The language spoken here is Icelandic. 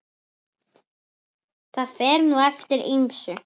Það fer nú eftir ýmsu.